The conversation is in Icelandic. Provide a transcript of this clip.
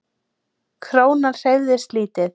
Krónan hreyfist lítið